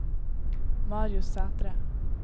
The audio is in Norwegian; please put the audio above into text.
Marius Sætre